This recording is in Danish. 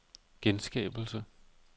genskabelse